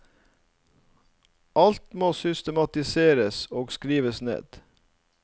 Alt må systematiseres og skrives ned.